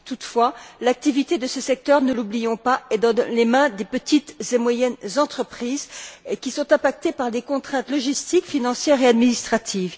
Toutefois, l'activité de ce secteur ne l'oublions pas est dans les mains des petites et moyennes entreprises, qui sont impactées par des contraintes logistiques, financières et administratives.